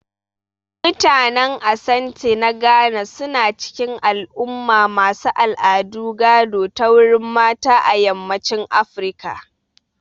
Mutanen Asante na Ghana su na cikin al'umma masu al'adu gado ta wurin mata a yammacin Afirka